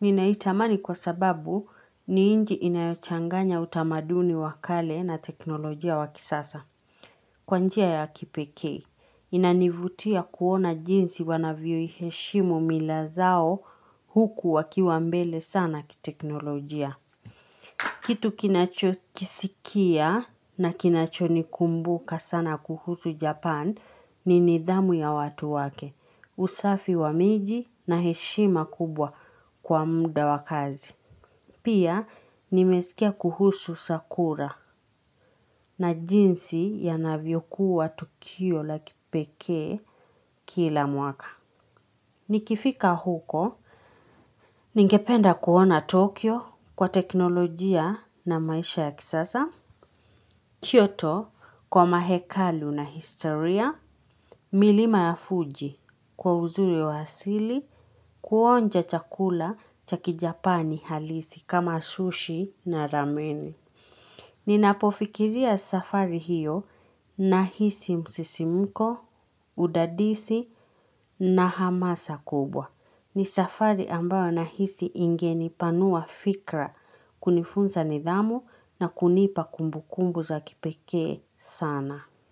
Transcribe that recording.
Ninaitamani kwa sababu ni inji inayochanganya utamaduni wa kale na teknolojia wa kisasa. Kwa njia ya kipekee. Inanivutia kuona jinsi wanavyo iheshimu mila zao huku wakiwa mbele sana kiteknolojia. Kitu kinacho kisikia na kinacho nikumbuka sana kuhusu Japan ni nidhamu ya watu wake. Usafi wa miji na heshima kubwa kwa muda wa kazi. Pia nimesikia kuhusu sakura na jinsi ya navyokuwa tukio la kipekee kila mwaka. Nikifika huko, ningependa kuona Tokyo kwa teknolojia na maisha ya kisasa. Kyoto kwa mahekalu na historia. Milima ya fuji kwa uzuri wa hasili kuonja chakula cha kijapani halisi kama sushi na rameni. Ninapofikiria safari hiyo na hisi msisimko, udadisi na hamasa kubwa. Ni safari ambayo nahisi ingenipanua fikra kunifunza nidhamu na kunipa kumbukumbu za kipekee saana.